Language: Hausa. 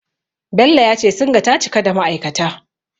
Bello ya ce Singa ta cika da ma'aikata.